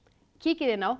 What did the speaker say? kíkið inn á